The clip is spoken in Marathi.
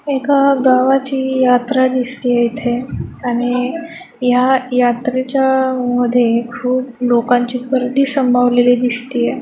एका गावाची यात्रा दिसतिये इथे आणि या यात्रेच्या मध्ये खूप लोकांची गर्दी संभावलेली दिसतिये.